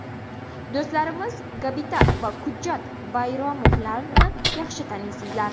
Do‘stlarimiz Gabibat va Kudjat Bayramovlarni yaxshi taniysizlar.